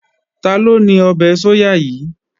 Taló ní ọbẹ̀ sóyà yìí?